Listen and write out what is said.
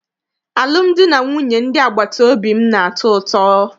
Alụmdi na nwunye ndị agbata obi m na-atọ ụtọ.